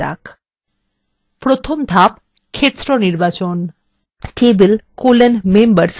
প্রথম ধাপ ক্ষেত্র নির্বাচন table: members নির্বাচন করুন